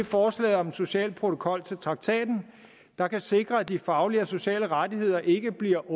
forslag om en social protokol til traktaten der kan sikre at de faglige og sociale rettigheder ikke bliver